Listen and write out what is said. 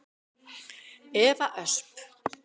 Eva Ösp.